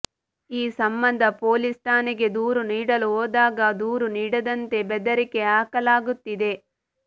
ಈ ಸಂಬಂಧ ಪೊಲೀಸ್ ಠಾಣೆಗೆ ದೂರು ನೀಡಲು ಹೋದಾಗ ದೂರು ನೀಡದಂತೆ ಬೆದರಿಕೆ ಹಾಕಲಾಗುತ್ತಿದೆ